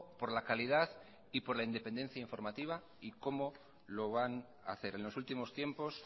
por la calidad y por le independencia informativa y cómo lo van a hacer en los últimos tiempos